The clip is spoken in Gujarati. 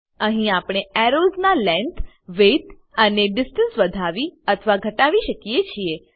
અહી આપણે એરોઝ ના લેંગ્થ વિડ્થ અને ડિસ્ટન્સ વધાવી અથવા ઘટાવી શકીએ છીએ